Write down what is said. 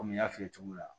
Komi n y'a f'i ye cogo min na